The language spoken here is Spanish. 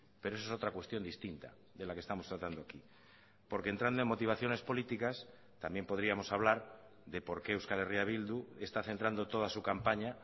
pero eso es otra cuestión distinta de la que estamos tratando aquí porque entrando en motivaciones políticas también podríamos hablar de por qué euskal herria bildu está centrando toda su campaña